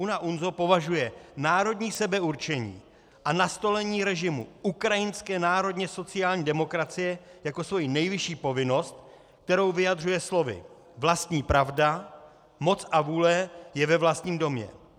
UNA-UNZO považuje národní sebeurčení a nastolení režimu ukrajinské národně sociální demokracie jako svoji nejvyšší povinnost, kterou vyjadřuje slovy: vlastní pravda, moc a vůle je ve vlastním domě.